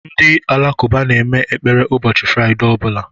Ndị Alakụba na-eme ekpere ụbọchị fraidee ọbụla.